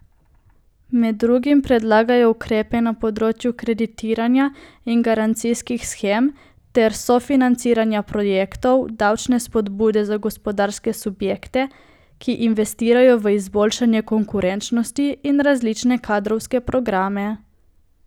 Med drugim predlagajo ukrepe na področju kreditiranja in garancijskih shem ter sofinanciranja projektov, davčne spodbude za gospodarske subjekte, ki investirajo v izboljšanje konkurenčnosti, in različne kadrovske programe.